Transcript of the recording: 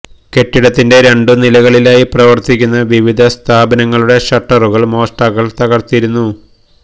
കെട്ടിടത്തിന്റെ രണ്ട് നിലകളിലായി പ്രവർത്തിക്കുന്ന വിവിധ സ്ഥാപനങ്ങളുടെ ഷട്ടറുകൾ മോഷ്ടാക്കൾ തകർത്തിരുന്നു